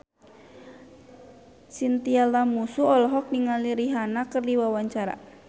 Chintya Lamusu olohok ningali Rihanna keur diwawancara